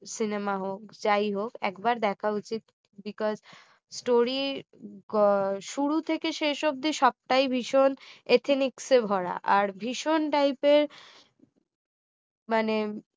cinema হোক যাই হোক একবার দেখা উচিত because story শুরু থেকে শেষ অবধি সব টাই ভীষণ ethinics এ ভরা আর ভীষণ type এর মানে